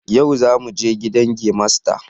Yau zamu je gidan gemasta